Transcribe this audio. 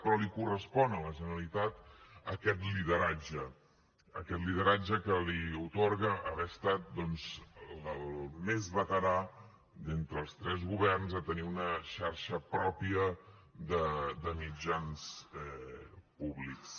però li correspon a la generalitat aquest lideratge aquest lideratge que li atorga haver estat doncs el més veterà d’entre els tres governs a tenir una xarxa pròpia de mitjans públics